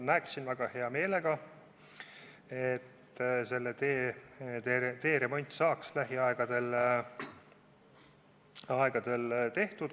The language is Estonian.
Näeksin väga hea meelega, et selle tee remont saaks lähiajal tehtud.